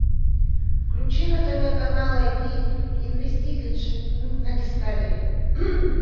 включи на тв канал ай ди инвестигейшн на дискавери